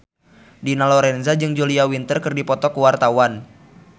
Dina Lorenza jeung Julia Winter keur dipoto ku wartawan